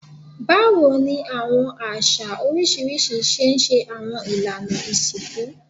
Bawo ni awọn aṣa oriṣiriṣi ṣe ṣe awọn ilana isinku?